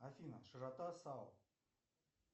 афина широта саул